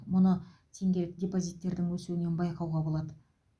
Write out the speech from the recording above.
мұны теңгелік депозиттердің өсуінен байқауға болады